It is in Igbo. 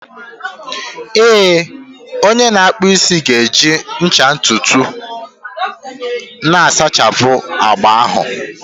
Ee, onye na-akpụ isi ga-eji ncha ntutu na-asachapụ agba ahụ